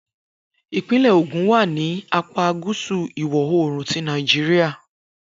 Ipinle Ogun wa ni apa gusu iwọ-oorun ti Nàìjíríà.